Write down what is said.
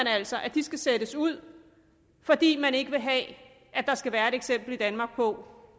altså at de skal sættes ud fordi man ikke vil have at der skal være et eksempel i danmark på